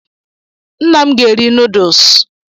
Nna m ga-eri nuduls!